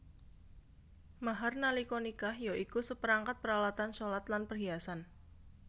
Mahar nalika nikah ya iku saperangkat paralatan shalat lan perhiasan